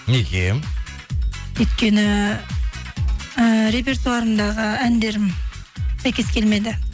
неге өйткені і репертуарымдағы әндерім сәйкес келмеді